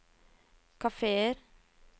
kafeer